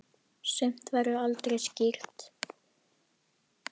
Sumt verður aldrei skýrt.